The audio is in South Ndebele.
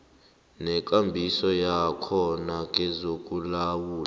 nekambiso yakhona kezokulawula